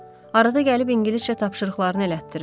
Arada gəlib ingiliscə tapşırıqlarını elətdirir.